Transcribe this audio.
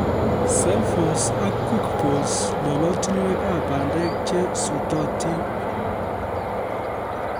celphose ak quickphos lolotinwekab bandek che sutotib